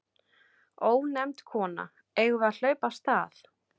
Ónefnd kona: Eigum við að hlaupa af stað?